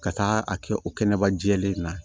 Ka taa a kɛ o kɛnɛba jɛlen na